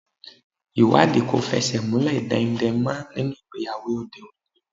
Ìwádìí kò fẹsẹ̀ múlẹ̀ daindain mọ́ nínú ìgbéyàwó òde òní.